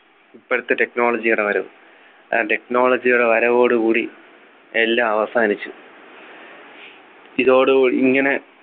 ഇപ്പോഴത്തെ technology യുടെ വരവ് ആ technology യുടെ വരവോടു കൂടി എല്ലാം അവസാനിച്ചു ഇതോടുകൂ ഇങ്ങനെ